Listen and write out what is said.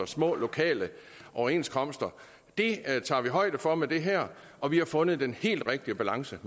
små lokale overenskomster det tager vi højde for med det her og vi har fundet den helt rigtige balance